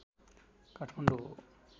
काठमाडौँ हो